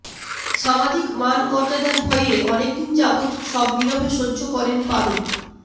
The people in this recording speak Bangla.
সামাজিক মান মর্যাদার ভয়ে অনেকদিন যাবৎ সব নীরবে সহ্য করেন পারুল